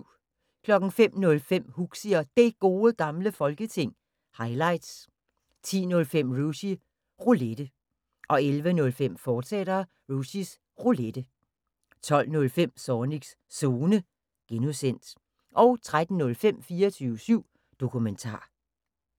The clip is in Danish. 05:05: Huxi og Det Gode Gamle Folketing – highlights 10:05: Rushys Roulette 11:05: Rushys Roulette, fortsat 12:05: Zornigs Zone (G) 13:05: 24syv Dokumentar